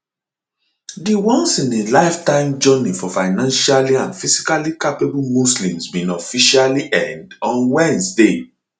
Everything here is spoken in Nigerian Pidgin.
di onceinalifetime journey for financially and physically capable muslims bin officially end on wednesday